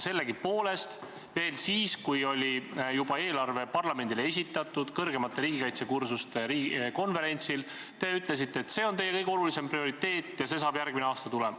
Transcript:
Sellegipoolest veel siis, kui eelarve oli juba parlamendile esitatud, te ütlesite kõrgemate riigikaitsekursuste konverentsil, et see on teie kõige olulisem prioriteet ja see saab järgmine aasta tulema.